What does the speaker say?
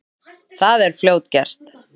Það er fljótgert.